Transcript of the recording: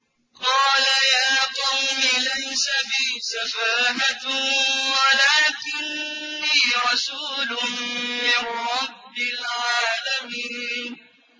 قَالَ يَا قَوْمِ لَيْسَ بِي سَفَاهَةٌ وَلَٰكِنِّي رَسُولٌ مِّن رَّبِّ الْعَالَمِينَ